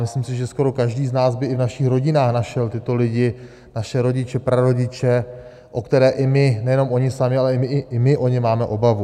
Myslím si, že skoro každý z nás by i v našich rodinách našel tyto lidi, naše rodiče, prarodiče, o které i my - nejenom oni sami, ale i my o ně máme obavu.